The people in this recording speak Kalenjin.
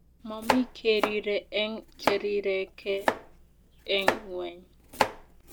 momii keriree eng cherirekee eng ngweny